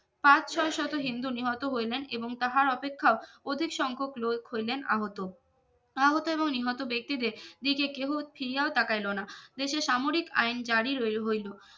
পাঁচ ছয় শত হিন্দু নিহত হইলেন এবং তাহার অপেক্ষাও অধিক সংখ্যক লোক হইলেন আহত আহত এবং নিহত ব্যক্তিদের দিকে কেহ ফিরিয়াও তাকাইলো না দেশে সামরিক আইন জারি রইও হইলো